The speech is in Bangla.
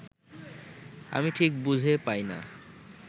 আমি ঠিক বুঝে পাই না